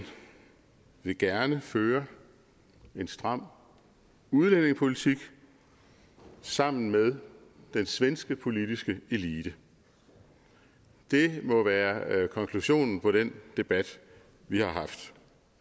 vil gerne føre en stram udlændingepolitik sammen med den svenske politiske elite det må være konklusionen på den debat vi har haft